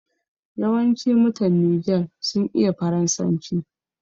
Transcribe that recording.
Yawanci mutan Niger sun iya Faransanci.